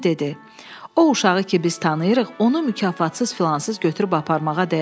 O uşağı ki biz tanıyırıq, onu mükafatsız-filansız götürüb aparmağa dəyər.